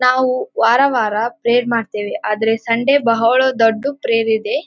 ನಾವು ವಾರ ವಾರ ಪ್ರೇಯರ್ ಮಾಡ್ತೇವೆ ಆದರೆ ಸಂಡೆ ಬಹಳ ದೊಡ್ಡ ಪ್ರೇಯರ್ ಇದೆ.